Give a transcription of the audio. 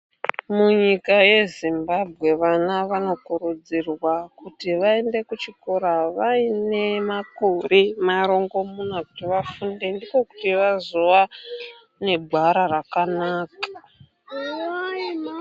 Munyika yeZimbabwe vana vanokurudzirwa kuti vaende kuchikora vane makore marongomuna kuti vafunde ndokuti vazova negwara rakanaka.